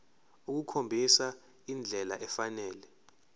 ukukhombisa indlela efanele